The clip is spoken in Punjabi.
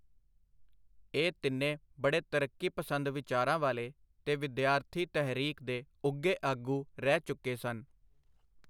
ਇਹ ਤਿੰਨੇ ਬੜੇ ਤਰੱਕੀ-ਪਸੰਦ ਵਿਚਾਰਾਂ ਵਾਲੇ ਤੇ ਵਿਦਿਆਰਥੀ-ਤਹਿਰੀਕ ਦੇ ਉੱਘੇ ਆਗੂ ਰਹਿ ਚੁਕੇ ਸਨ.